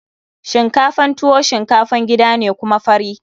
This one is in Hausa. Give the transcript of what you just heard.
Shinkafan tuwo shinkafan gida ne kuma fari.